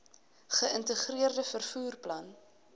geïntegreerde vervoer plan